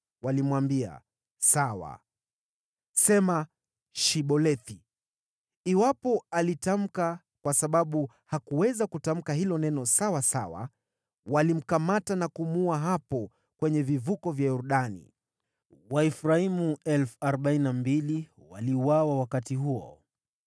walimwambia, “Sawa, sema ‘Shibolethi.’ ” Iwapo alitamka, “Sibolethi,” kwa sababu hakuweza kutamka hilo neno sawasawa, walimkamata na kumuua hapo kwenye vivuko vya Yordani. Waefraimu 42,000 waliuawa wakati huo.